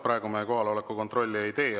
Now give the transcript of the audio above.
Praegu me kohaloleku kontrolli ei tee.